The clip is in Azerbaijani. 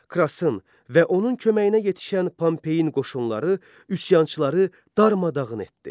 Krasın və onun köməyinə yetişən Pompeyin qoşunları üsyançıları darmadağın etdi.